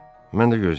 Mən də gözləyirdim.